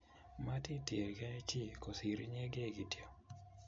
Matitienge chii kosir inyegei kityo